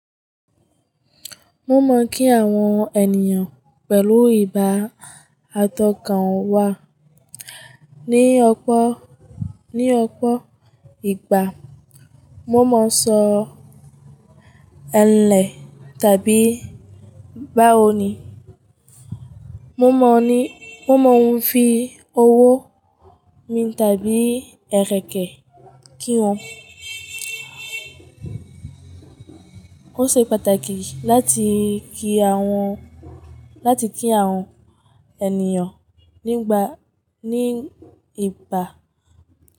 Mo mọ kí àwọn ènìyàn pẹ̀lú ìbá atọ́kan wà. Ni ọpọ̀, ní ọpọ̀ ìgbà, mo máa ń sọ "Ẹ lẹ "tàbí "báwòní". Mo mọ ní, mo mọ oun fi owó mi tàbí ẹ́rẹ̀kẹ́ kí wọ́n. Ó ṣe pàtàkì láti kí àwọn, láti kí àwọn ẹnìyàn nígbà, ní ìbá.